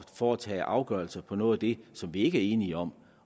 foretage afgørelse om noget af det som vi ikke er enige om